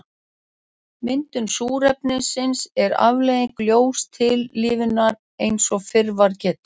Myndun súrefnis er afleiðing ljóstillífunar eins og fyrr var getið.